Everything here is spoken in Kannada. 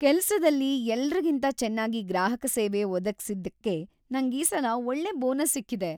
ಕೆಲ್ಸದಲ್ಲಿ ಎಲ್ರಿಗಿಂತ ಚೆನ್ನಾಗಿ ಗ್ರಾಹಕ ಸೇವೆ ಒದಗ್ಸಿದ್ದಕ್ಕೆ ನಂಗೀಸಲ ಒಳ್ಳೆ ಬೋನಸ್ ಸಿಕ್ಕಿದೆ.